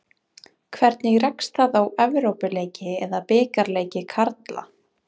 Hvernig rekst það á Evrópuleiki eða bikarleiki karla?